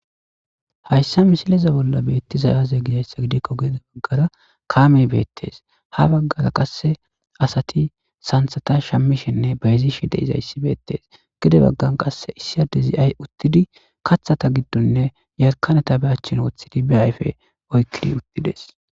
Hayssa misileza bolla beettizayaze gizayssa gidikko geede baggara kaamey beettes ha baggara qasse asati santhata shammishenne bayzishe de izayssi beettes gede baggan qasse issiyade zi'ay uttidi kathata giddonne yarkaneta be achchin woththidi be ayfe oykkidi uttides.